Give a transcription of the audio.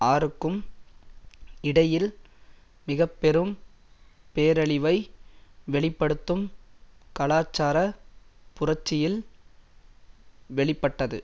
ஆறுக்கும் இடையில் மிக பெரும் பேரழிவை வெளி படுத்தும் கலாச்சார புரட்சியில் வெளி பட்டது